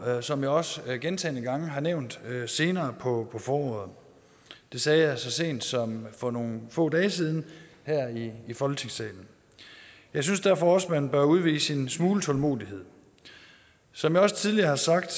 som jeg også gentagne gange har nævnt senere på foråret det sagde jeg så sent som for nogle få dage siden her i folketingssalen jeg synes derfor også man bør udvise en smule tålmodighed som jeg også tidligere har sagt